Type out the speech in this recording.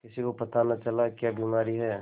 किसी को पता न चला क्या बीमारी है